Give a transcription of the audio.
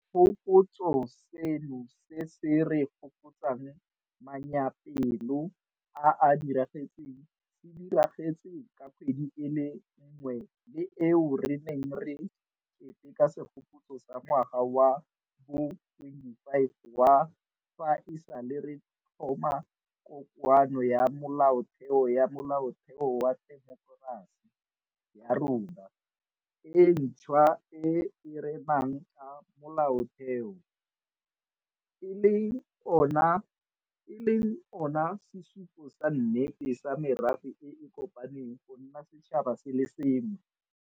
Segopotso seno se se re gopotsang manyaapelo a a diragetseng se diragetse ka kgwedi e le nngwe le eo re neng re keteka segopotso sa ngwaga wa bo 25 wa fa e sale re tlhoma Kokoano ya Molaotheo ya Molaotheo wa temokerasi ya rona e ntšhwa e e renang ka Molaotheo, e leng ona sesupo sa nnete sa merafe e e kopaneng go nna setšhaba se le sengwe.